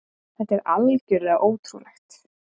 Þetta er algjörlega ótrúlegt!